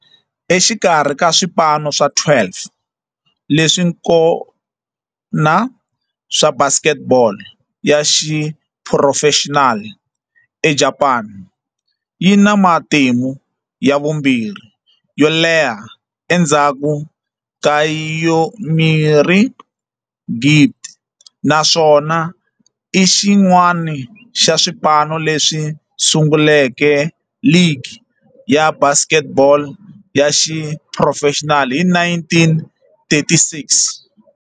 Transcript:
Exikarhi ka swipano swa 12 leswi kona swa basket ball ya xiphurofexinali eJapani, yi na matimu ya vumbirhi yo leha endzhaku ka Yomiuri Giants, naswona i xin'wana xa swipano leswi sunguleke ligi ya basket ball ya xiphurofexinali hi 1936.